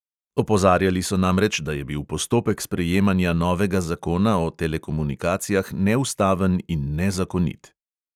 Opozarjali so namreč, da je bil postopek sprejemanja novega zakona o telekomunikacijah neustaven in nezakonit.